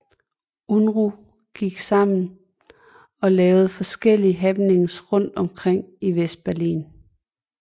Unruh gik sammen og lavede forskellige happenings rundt omkring i Vestberlin